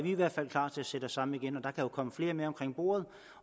i hvert fald klar til at sætte os sammen igen og der kan jo komme flere med omkring bordet